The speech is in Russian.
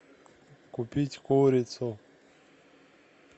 купить курицу